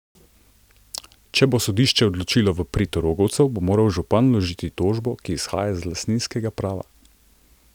Če bo sodišče odločilo v prid rogovcev, bo moral župan vložiti tožbo, ki izhaja iz lastninskega prava.